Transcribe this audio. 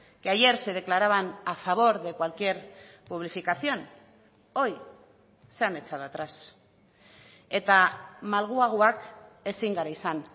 que ayer se declaraban a favor de cualquier publificación hoy se han echado atrás eta malguagoak ezin gara izan